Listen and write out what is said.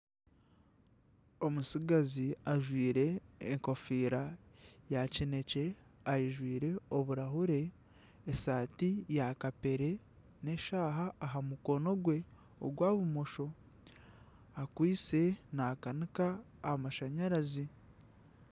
Omutsigazi ajwire enkofiira ya kineekye ajwaire oburaahure, esaati ya kapeere, n'eshaaha aha mukono gwe ogwa bumosho akwitse naakanika amashanyarazi